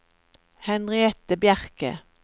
Henriette Bjerke